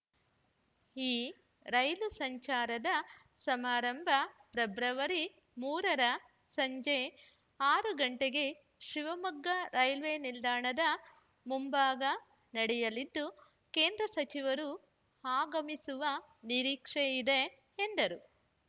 ಈ ರೈಲು ಸಂಚಾರದ ಸಮಾರಂಭ ಫೆಬ್ರವರಿ ಮೂರು ರ ಸಂಜೆ ಆರು ಗಂಟೆಗೆ ಶಿವಮೊಗ್ಗ ರೈಲ್ವೆ ನಿಲ್ದಾಣದ ಮುಂಭಾಗ ನಡೆಯಲಿದ್ದು ಕೇಂದ್ರ ಸಚಿವರು ಆಗಮಿಸುವ ನಿರೀಕ್ಷೆ ಇದೆ ಎಂದರು